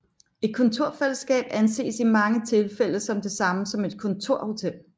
Et kontorfællesskab anses i mange tilfælde som det samme som et kontorhotel